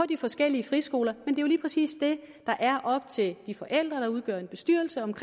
de forskellige friskoler lige præcis det der er op til de forældre der udgør bestyrelserne